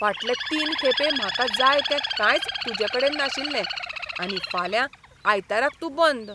फाटले तीन खेपे म्हाका जाय तें कांयच तुजेकडेन नाशिल्लें आनी फाल्यां आयताराक तूं बंद.